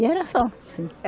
E era só, assim.